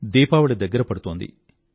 దీపావళి దగ్గర పడుతోంది